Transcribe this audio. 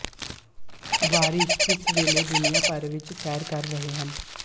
ਵਾਰਿਸ ਇਸ ਵੇਲੇ ਦੁਨੀਆ ਭਰ ਵਿੱਚ ਸੈਰ ਕਰ ਰਹੇ ਹਨ